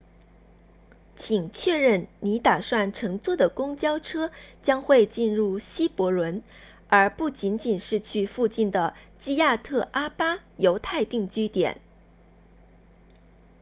请确认你打算乘坐的公交车将会进入希伯伦而不仅仅是去附近的基亚特阿巴 kiryat arba 犹太定居点